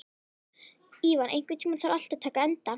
Ívan, einhvern tímann þarf allt að taka enda.